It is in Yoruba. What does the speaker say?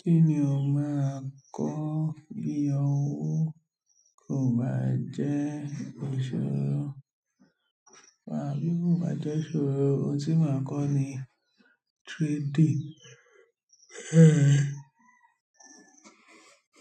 Kí ni o máa kọ́ bí owó kò bá jẹ́ ìṣòro? Rárá, bí owó kò bá jẹ́ ìṣòro, ohun tí màá kọ́ ni 3D.